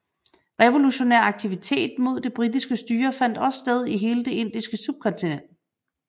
Revolutionær aktivitet mod det britiske styre fandt også sted i hele det indiske subkontinent